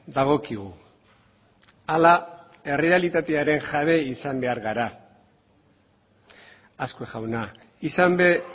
dagokigu ala errealitatearen jabe izan behar gara azkue jauna izan ere